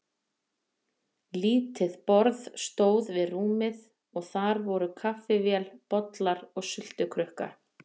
Lítið borð stóð við rúmið og þar voru kaffivél, bollar og sultukrukka.